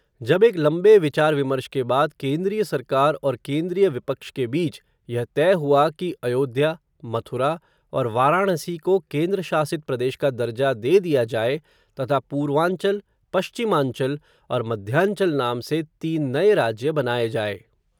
जब एक लंबे विचार विमर्श के बाद, केन्द्रीय सरकार, और केन्द्रीय विपक्ष के बीच, यह तय हुआ कि अयोध्या, मथुरा, और वाराणसी को, केन्द्रशासित प्रदेश का दर्जा दे दिया जाए, तथा पूर्वांचल, पश्चिमांचल, और मध्यांचल नाम से, तीन नए राज्य, बनाए जाए